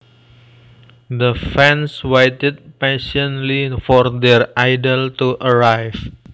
The fans waited patiently for their idol to arrive